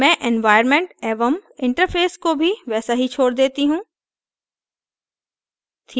मैं environment एवं interface को भी वैसा ही छोड़ देती हूँ